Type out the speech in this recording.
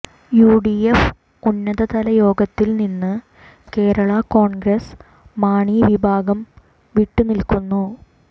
UDF ഉന്നതതല യോഗത്തിൽ നിന്ന് കേരളാ കോൺഗ്രസ് മാണി വിഭാഗം വിട്ടുനിൽക്കുന്നു